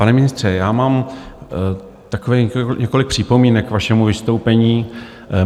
Pane ministře, já mám také několik připomínek k vašemu vystoupení.